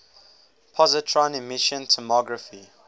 positron emission tomography